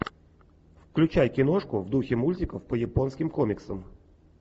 включай киношку в духе мультиков по японским комиксам